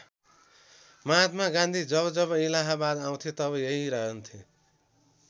महात्मा गान्धी जब जब इलाहाबाद आउँथे तब यहीँ रहन्थे।